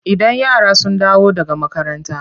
Idan yara sun dawo daga makaranta.